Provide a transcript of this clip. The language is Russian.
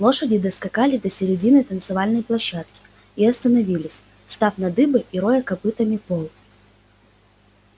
лошади доскакали до середины танцевальной площадки и остановились встав на дыбы и роя копытами пол